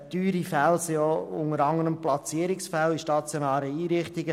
Teuer sind unter anderem auch Platzierungsfälle in stationären Einrichtungen.